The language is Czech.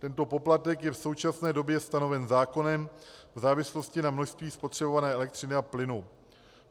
Tento poplatek je v současné době stanoven zákonem v závislosti na množství spotřebované elektřiny a plynu.